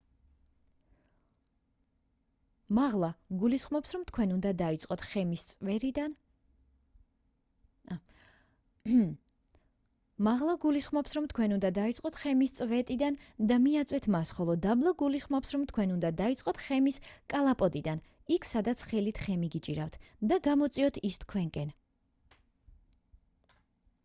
მაღლა გულისხმობს რომ თქვენ უნდა დაიწყოთ ხემის წვეტიდან და მიაწვეთ მას ხოლო დაბლა გულისხმობს რომ თქვენ უნდა დაიწყოთ ხემის კალაპოტთან იქ სადაც ხელით ხემი გიჭირავთ და გამოწიოთ ის თქვენკენ